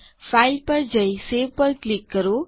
file પર જઈ save પર ક્લિક કરો